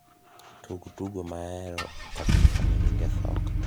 tug tugo maahero kabisa ma nyinge soka